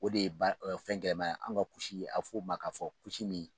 O de ye baara kɛyɔrɔ fɛn gɛlɛma ye, an ka ku nin a bi fɔ ma k'a fɔ ku